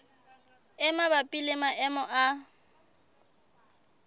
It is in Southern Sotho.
e mabapi le maemo a